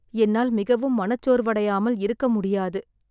என்னால் மிகவும் மனச்சோர்வடையாமல் இருக்க முடியாது.